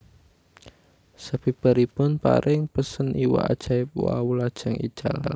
Sabibaripun paring pesen iwak ajaib wau lajeng ical